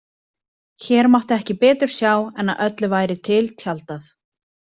Hér mátti ekki betur sjá en að öllu væri til tjaldað.